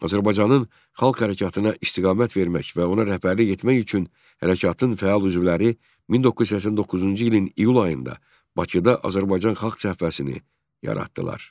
Azərbaycanın xalq hərəkatına istiqamət vermək və ona rəhbərlik etmək üçün hərəkatın fəal üzvləri 1989-cu ilin iyul ayında Bakıda Azərbaycan Xalq Cəbhəsini yaratdılar.